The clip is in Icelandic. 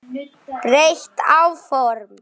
Breytt áform